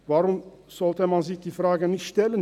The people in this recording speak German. Warum sollte man sich diese Frage nicht stellen?